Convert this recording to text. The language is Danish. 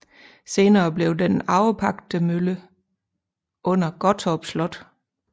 Senere blev den arvepagtemølle under Gottorp Slot